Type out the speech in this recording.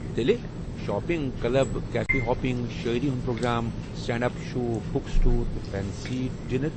تیٚلہِ، shopping, club, cafe hopping, شٲعری ہِنٛد programme, stand up show, book store, تہٕ فنسی ڈِنَر۔